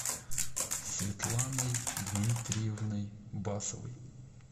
светланой дмитриевной басовой